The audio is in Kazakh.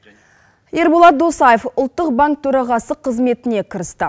ерболат досаев ұлттық банк төрағасы қызметіне кірісті